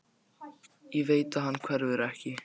Ég veit að hann hverfur ekki.